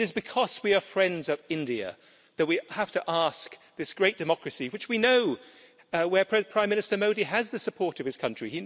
It is because we are friends of India that we have to ask this great democracy which we know, where Prime Minister Modi has the support of his country